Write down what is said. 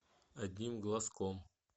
одним глазком